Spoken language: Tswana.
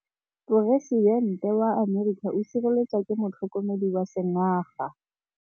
Poresitêntê wa Amerika o sireletswa ke motlhokomedi wa sengaga.